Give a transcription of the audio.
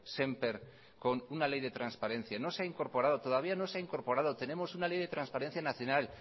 sémper con una ley de transparencia no se ha incorporado todavía no se ha incorporado tenemos una ley de transparencia nacional